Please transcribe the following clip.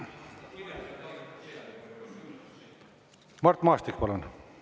Mart Maastik, palun!